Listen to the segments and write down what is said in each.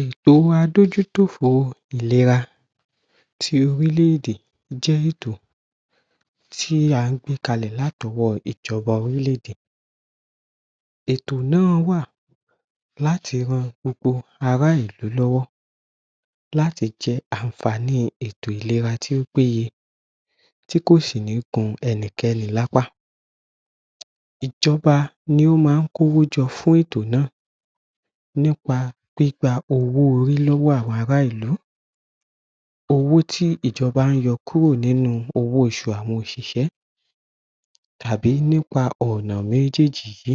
Ètò adójútòfò ìlera tí orílẹ̀-èdè jẹ́ ètò tí a gbé kalẹ̀ láti ọwọ́ ìjọba orílẹ̀-èdè. Ètò náà wà láti ràn gbogbo ará ìlú lọ́wọ́ láti jẹ àǹfààní ètò ìlera tó péye, tí kò sì ní gún ẹnikẹ́ni lápá. Ìjọba ni ó máa kówó jọ fún ètò náà, nípa gbígbà owó-orí lọ́wọ́ àwọn ará ìlú. Owó tí ìjọba yọ kúrò nínú owó oṣù àwọn òṣìṣẹ́ tàbí nípa ọ̀nà méjèèjì yìí.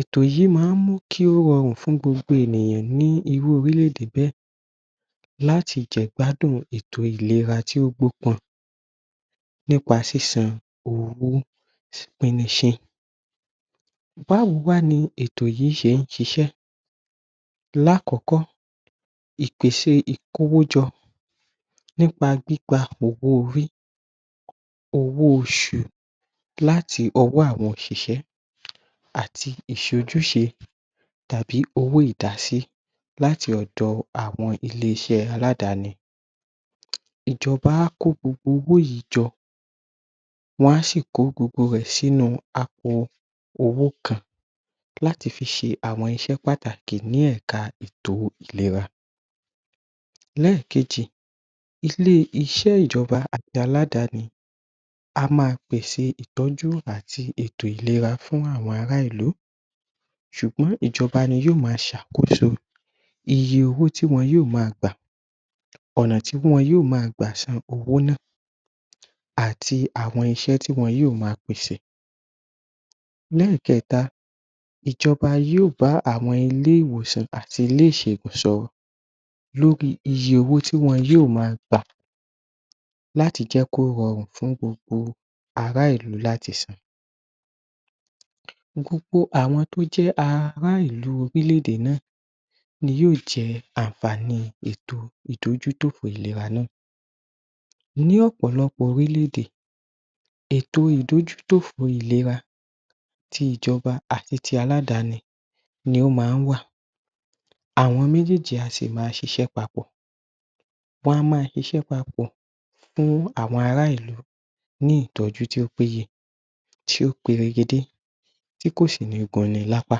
Ètò yìí máa mú kí o rọrùn fún gbogbo ènìyàn ní irú orílẹ̀-èdè bẹ́ẹ̀ láti jẹ ìgbádùn ètò ìlera tó gbọ́kan nípa sísan owó píníṣí. Báwo wá ni ètò yìí ṣe ṣiṣẹ́? Lákọ̀ọ́kọ́ ìpèsè ìkówójọ nípa gbígbà owó-orí, owó-oṣù láti ọwọ́ àwọn òṣìṣẹ́ àti ìṣejúṣe tàbí owó ìdásí láti ọ̀dọ àwọn ilé-iṣẹ́ aládàáni. Ìjọba á kó gbogbo owó yìí jọ, wọ́n a sì kó gbogbo rẹ̀ sínú àpò owó kan láti fi ṣe àwọn iṣẹ́ pàtàkì ní ẹ̀ka ètò ìlera. Ẹlẹ́ẹ̀kejì. Ilé-iṣẹ́ ìjọba àti aládàáni á máa pèsè ìtọ́jú àti ètò ìlera fún àwọn ará ìlú. Ṣùgbọ́n ìjọba ní yóò máa ṣàkóso iye owó tí wọn yóò máa gbà, ọ̀nà tí wọ́n yóò máa gbà sanwó náà àti àwọn iṣẹ́ tí wọn yóò máa pèsè. Ní ẹ̀kẹta, ìjọba yóò bá àwọn ilé-ìwòsàn àti ilé-ìṣègùn sọ̀rọ̀, lórí iye owó tí wọn yóò máa gbà láti jẹ́ kí o rọrùn fún gbogbo ará ìlú láti san. Gbogbo àwọn tó jẹ́ ará ìlú orílẹ̀-èdè náà ni yóò jẹ àǹfààní ètò ìdójútòfò ìlera náà. Ní ọ̀pọ̀lọpọ̀ orílẹ̀-èdè, ètò ìdójútòfò ìlera tí ìjọba àti ti aládàáni ní o máa wà, àwọn méjèèjì a sì máa ṣiṣẹ́ papọ̀. Wọn a máa ṣiṣẹ́ papọ̀ fún àwọn ará ìlú ni ìtọ́jú tí ó péye, tí ó peregedé, tí kò sì ní gùn ni lápá.